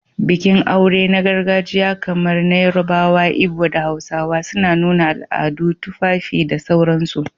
Bikin aure na gargajiya kamar na Yarabawa, Ibo, da Hausawa, suna nuna al'adu, tufafi, da sauransu